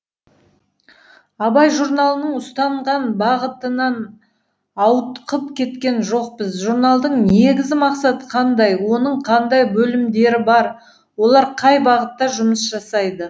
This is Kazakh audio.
абай журналының ұстанған бағытынан ауытқып кеткен жоқпыз журналдың негізгі мақсаты қандай оның қандай бөлімдері бар олар қай бағытта жұмыс жасайды